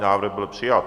Návrh byl přijat.